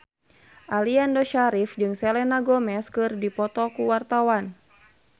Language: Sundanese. Aliando Syarif jeung Selena Gomez keur dipoto ku wartawan